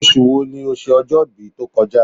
Oṣù wo ni o ṣe ọjọ́-ibí tó kọ já?